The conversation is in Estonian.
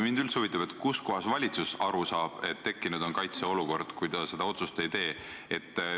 Mind üldse huvitab, kuidas valitsus aru saab, et tekkinud on kaitseolukord, kui ta seda otsust ei tee.